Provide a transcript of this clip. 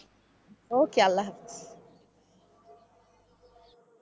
OK আল্লাহ হাফেজ।